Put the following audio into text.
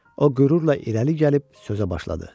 O qürurla irəli gəlib sözə başladı.